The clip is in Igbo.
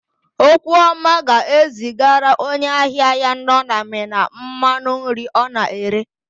Okwuọma ga-ezigara onye ahịa ya nọ na Mina mmanụ nri ọ na-ere.